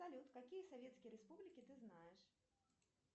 салют какие советские республики ты знаешь